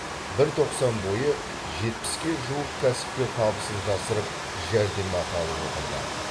бір тоқсан бойы жетпіске жуық кәсіпкер табысын жасырып жәрдемақы алып отырды